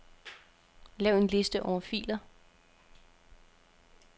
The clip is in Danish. Lav en liste over filer.